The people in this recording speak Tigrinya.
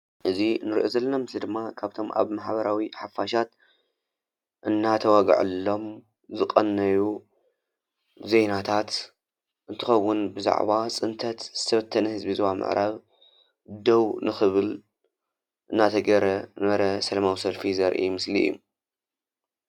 እዚ እንሪኦ ዘለና ምስሊ ድማ ካብቶም ኣብ ማሕበራዊ ሓፋሻት እናተወግዐሎም ዝቐነዩ ዜናታት እንትኸዉን ብዛዕባ ፅንተት ዝተበተነ ህዝቢ ዞባ ምዕራብ ደው ንኽብል እናተገብረ ዝነበረ ሰላማዊ ሰልፊ ዘርኢ ምስሊ እዩ።